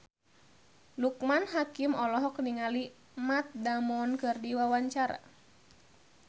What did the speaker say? Loekman Hakim olohok ningali Matt Damon keur diwawancara